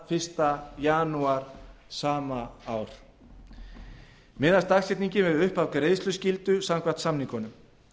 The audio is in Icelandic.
fyrsta janúar sama ár miðast dagsetningin við upphaf greiðsluskyldu samkvæmt samningunum